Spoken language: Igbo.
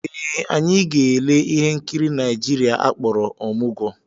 Ee, anyị ga-ele ihe nkiri Naijiria akpọrọ Ọmụgwọ